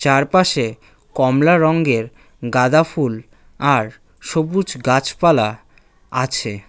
চারপাশে কমলা রঙ্গের গাঁদাফুল আর সবুজ গাছপালা আছে।